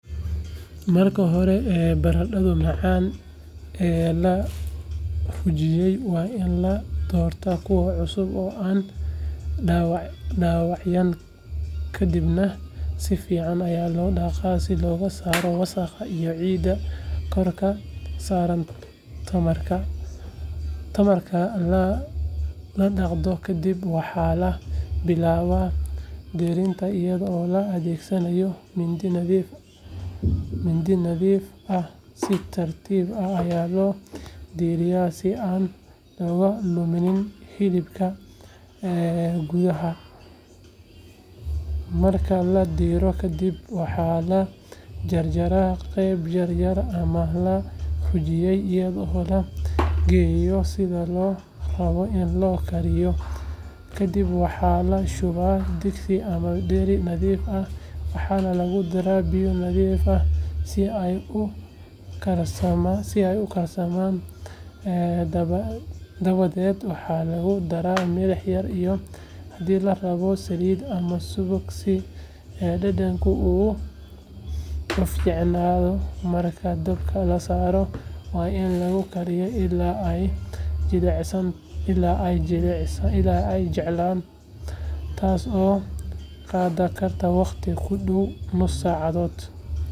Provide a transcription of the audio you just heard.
Marka hore barandhada macaan ee la rujiyey waa in la doortaa kuwa cusub oo aan dhaawacnaynkadibna si fiican ayaa loo dhaqaa si looga saaro wasakhda iyo ciidda korka saarantamarka la dhaqdo kadib waxaa la bilaabaa diirinta iyadoo la adeegsanayo mindi nadiif ahsi tartiib ah ayaa loo diiraa si aan looga lumin hilibka gudaha ahmarka la diiro kadib waxaa lagu jarjaraa qaybo yaryar ama la rujiyey iyadoo loo eegayo sida loo rabo in loo kariyokadib waxaa la shubaa digsi ama dheri nadiif ah waxaana lagu daraa biyo nadiif ah si ay u karsamaandabadeed waxaa lagu daraa milix yar iyo haddii la rabo saliid ama subag si dhadhanka uu u fiicnaadomarka dabka la saaro waa in lagu kariyaa ilaa ay jilcaan taasoo qaadan karta waqti ku dhow nus saacathot.